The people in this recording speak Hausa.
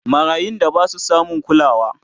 marayun da Basu samun kulawa